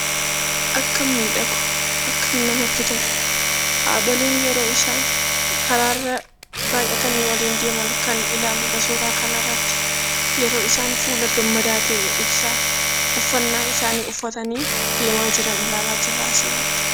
Akkam miidhagu haadholiin yeroo isaan karaarra baay'atanii waliin deeman kan ilaalludha suuraa kanarratti. Yeroo isaan fuula gammadaa ta'e ibsaa uffannaa isaanii uffatanii deemaa jiran ilaalaa jirra asirratti.